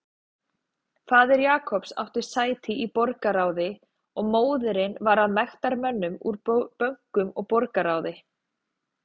Faðir Jacobs átti sæti í borgarráði og móðirin var af mektarmönnum úr bönkum og borgarráði.